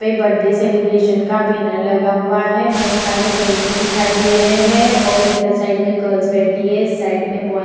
पे birthday celebration का banner लगा हुआ है बहुत सारे बैलून्स दिखाई दे रहें हैं और इधर साइड में गर्ल्स बैठी है इस साइड में बॉय --